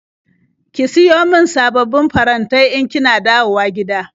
Ki siyo min sababbin farantai in kina dawowa gida.